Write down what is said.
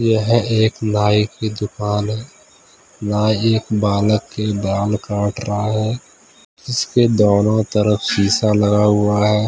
यह एक नाई की दुकान है नाई एक बालक के बाल कट रहा है जिसके दोनो तरफ शीशा लगा हुआ है।